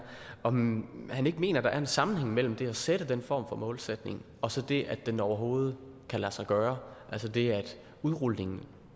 om han ikke mener at der er en sammenhæng mellem det at sætte den form for målsætning og så det at den overhovedet kan lade sig gøre altså det at udrulningen